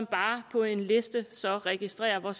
bare på en liste registrerer hvor